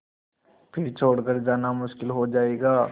फिर छोड़ कर जाना मुश्किल हो जाएगा